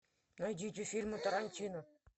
найдите фильмы тарантино